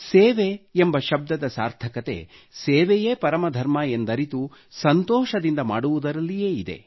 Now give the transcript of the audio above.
ಸೇವೆ ಎಂಬ ಶಬ್ದದ ಸಾರ್ಥಕತೆ ಸೇವೆಯೇ ಪರಮ ಧರ್ಮ ಎಂದರಿತು ಸಂತೋಷದಿಂದ ಮಾಡುವುದರಲ್ಲಿಯೇ ಇದೆ